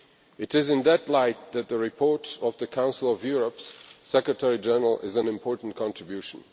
It is in that light that the report of the Council of Europe's Secretary General is an important contribution.